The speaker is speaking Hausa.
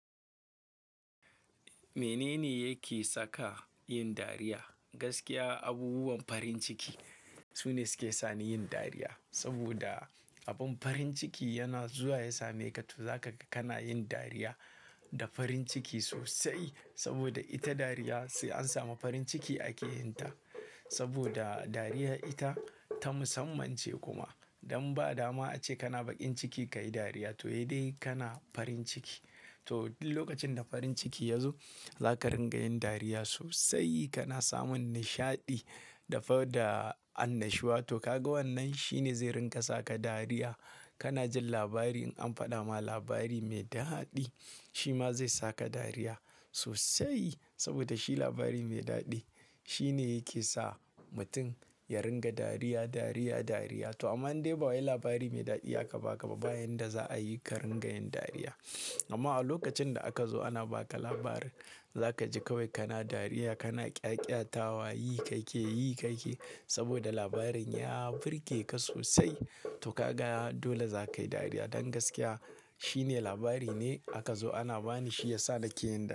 Menene yake saka yin dariya? Gaskiya abubuwan farin ciki sune suke sani yin dariya. Saboda abun farin ciki yana zuwa ya same ka, to zaka kana yin dariya da farin ciki sosai. Saboda ita dariya, sai an samu farin ciki ake yin ta. Saboda dariya ita, ta musamman ce kuma don ba dama a ce kana baƙin ciki ka yi dariya, to sai dai kana farin ciki. To duk lokacin da farin ciki ya zo, za ka ringa yin dariya sosai, kana samun nishaɗi, da annashuwa. To kaga wannan shine zai ringa saka dariya. Kana jin labari in an faɗa ma labari mai daɗi, shi ma zai saka dariya sosai. Saboda shi labari mai daɗi shine yake sa mutum ya ringa dariya, dariya, dariya. To amma in dai ba wa labari mai daɗi aka ba ka, ba hanyar da za a yi ka ringa yin dariya. Amma a lokacin da aka zo ana ba ka labarin, za ka ji kawai kana dariya, kana ƙyaƙyatawa, yi kake, yi kake. Saboda labarin ya birge ka sosai. To ka ga dole za ka yi dariya. Don gaskiya shine labari ne, aka zo ana bani shi ya sa nake yin dariya.